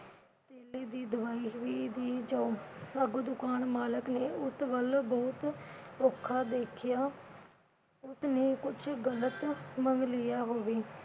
ਧੇਲੇ ਦੀ ਦਵਾਈ ਦੁਵਈ ਦੇ ਜਾਓ। ਅੱਗੋਂ ਦੁਕਾਨ ਮਾਲਕ ਨੇ ਉਸ ਵੱਲ ਬਹੁਤ ਔਖਾ ਦੇਖਿਆ, ਉਸਨੇ ਕੁਛ ਗਲਤ ਮੰਗ ਲਿਆ ਹੋਵੇ।